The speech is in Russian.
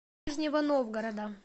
нижнего новгорода